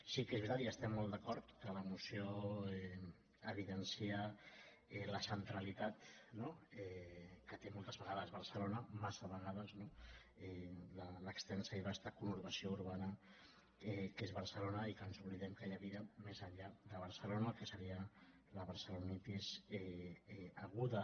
sí que és veritat i hi estem molt d’acord que la moció evidencia la centra·litat que té moltes vegades barcelona massa vegades no l’extensa i vasta conurbació urbana que és bar·celona i que ens oblidem que hi ha vida més enllà de barcelona el que seria la barcelonitis aguda